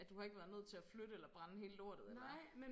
At du har ikke været nødt til at flytte eller brænde hele lortet eller